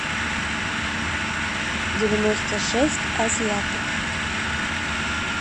девяносто шесть азиаток